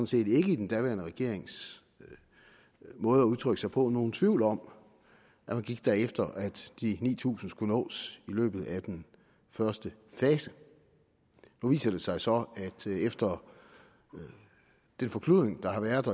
set i den daværende regerings måde at udtrykke sig på ikke nogen tvivl om at man gik efter at de ni tusind t skulle nås i løbet af den første fase nu viser det sig så efter den forkludring der har været